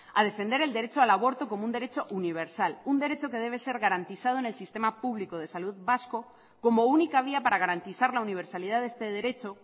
a defender el derecho al aborto como un derecho universal un derecho que debe ser garantizado en el sistema público de salud vasco como única vía para garantizar la universalidad de este derecho